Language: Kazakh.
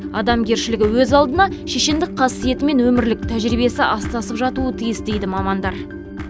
адамгершілігі өз алдына шешендік қасиеті мен өмірлік тәжірибесі астасып жатуы тиіс дейді мамандар